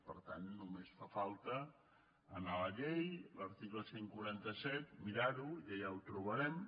per tant només fa falta anar a la llei l’article cent i quaranta set mirar·ho i allà ho trobarem